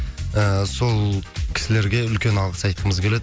ііі сол кісілерге үлкен алғыс айтқымыз келеді